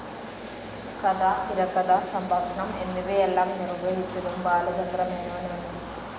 കഥ, തിരകഥ, സംഭാഷണം എന്നിവയെല്ലാം നിർവ്വഹിച്ചതും ബാലചന്ദ്രമേനോൻ ആണ്.